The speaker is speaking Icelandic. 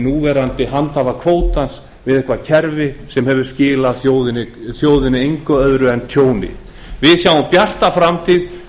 núverandi handhafa kvótans við eitthvert kerfi sem hefur skilað þjóðinni engu öðru en tjóni við sjáum bjarta framtíð